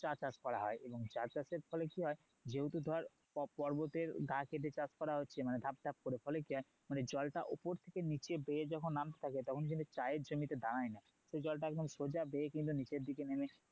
চা চাষ করা হয় এবং চা চাষের ফলে কি হয় যেহুতু ধর পর্বতের গা কেটে চাষ করা হচ্ছে মানে ধাপ ধাপ করে ফলে কি হয় জলটা ওপর থেকে নিচে বেয়ে যখন নামতে থাকে তখন কিন্তু চায়ের জমিতে দাঁড়ায় না সে জলটা একদম সোজা বেয়ে কিন্তু নিচের দিকে নেমে